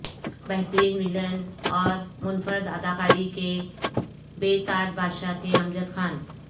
بہترین ویلن اور منفرد اداکاری کے بے تاج بادشاہ تھے امجد خان